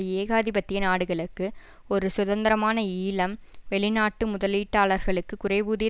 ஏகாதிபத்திய நாடுகளுக்கு ஒரு சுதந்திரமான ஈழம் வெளிநாட்டு முதலீட்டாளர்களுக்கு குறைவூதிய